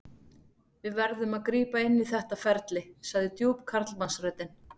Við verðum að grípa inn í þetta ferli, sagði djúp karlmannsröddin.